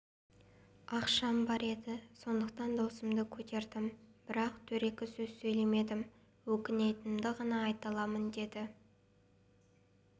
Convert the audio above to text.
ақшам бар еді сондықтан даусымды көтердім бірақ дөрекі сөз сөйлемедім өкінетінімді ғана айта аламын деді